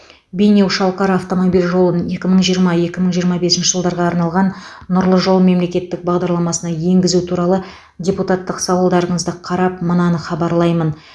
бейнеу шалқар автомобиль жолын екі мың жиырма екі мың жиырма бесінші жылдарға арналған нұрлы жол мемлекеттік бағдарламасына енгізу туралы депутаттық сауалдарыңызды қарап мынаны хабарлаймын